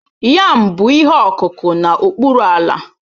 Yam bụ ihe ọkụkụ n'okpuru ala